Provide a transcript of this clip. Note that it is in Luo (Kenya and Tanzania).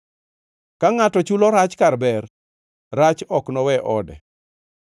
Ka ngʼato chulo rach kar ber, rach ok nowe ode.